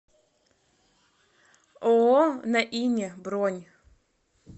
ооо на ине бронь